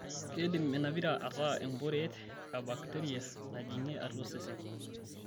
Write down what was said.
Keidim ina pira ataa emporeet e bakteria najing'ie atua osesen.